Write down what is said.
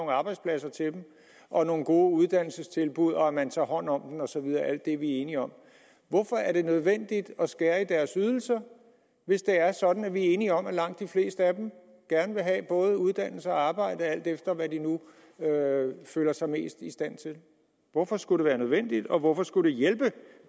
arbejdspladser og nogle gode uddannelsestilbud og at man tager hånd om dem og så videre alt det er vi enige om hvorfor er det nødvendigt at skære i deres ydelser hvis det er sådan at vi er enige om at langt de fleste af dem gerne vil have både uddannelse og arbejde alt efter hvad de nu føler sig mest i stand til hvorfor skulle det være nødvendigt og hvorfor skulle det hjælpe